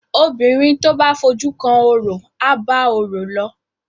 obìrin to bá fojú kan ọrọ aba ọrọ ló.